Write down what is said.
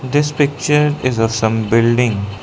This picture is of some building.